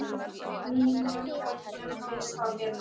Mínum börnum finnst það betra.